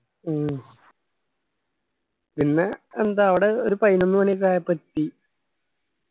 മ്മ് പിന്നെ എന്താ അവടെ ഒരു പൈനൊന്ന് മാണി ഒക്കെ ആയപ്പോ എത്തി